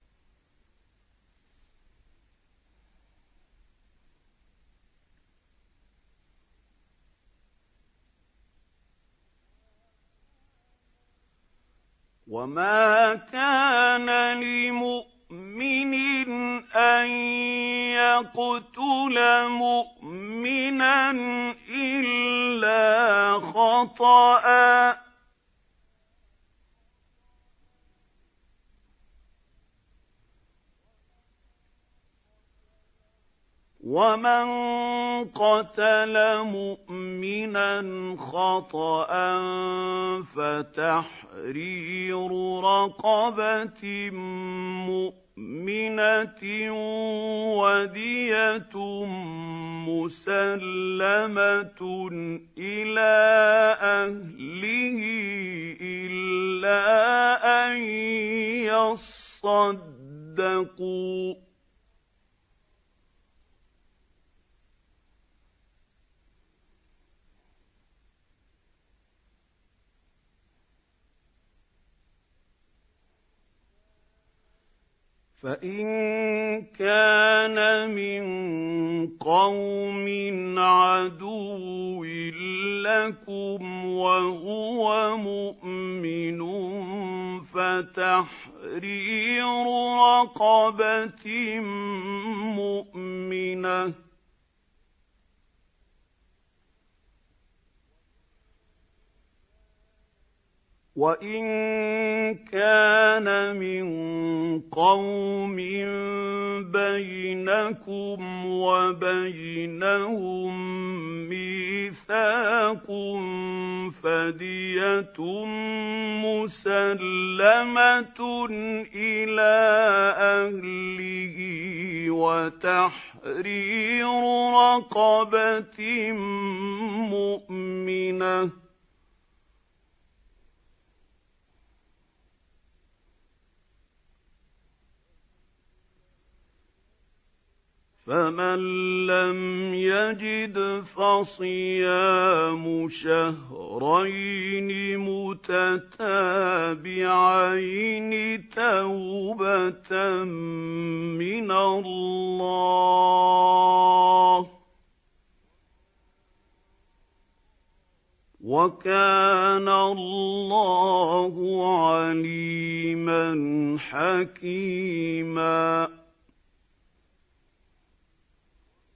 وَمَا كَانَ لِمُؤْمِنٍ أَن يَقْتُلَ مُؤْمِنًا إِلَّا خَطَأً ۚ وَمَن قَتَلَ مُؤْمِنًا خَطَأً فَتَحْرِيرُ رَقَبَةٍ مُّؤْمِنَةٍ وَدِيَةٌ مُّسَلَّمَةٌ إِلَىٰ أَهْلِهِ إِلَّا أَن يَصَّدَّقُوا ۚ فَإِن كَانَ مِن قَوْمٍ عَدُوٍّ لَّكُمْ وَهُوَ مُؤْمِنٌ فَتَحْرِيرُ رَقَبَةٍ مُّؤْمِنَةٍ ۖ وَإِن كَانَ مِن قَوْمٍ بَيْنَكُمْ وَبَيْنَهُم مِّيثَاقٌ فَدِيَةٌ مُّسَلَّمَةٌ إِلَىٰ أَهْلِهِ وَتَحْرِيرُ رَقَبَةٍ مُّؤْمِنَةٍ ۖ فَمَن لَّمْ يَجِدْ فَصِيَامُ شَهْرَيْنِ مُتَتَابِعَيْنِ تَوْبَةً مِّنَ اللَّهِ ۗ وَكَانَ اللَّهُ عَلِيمًا حَكِيمًا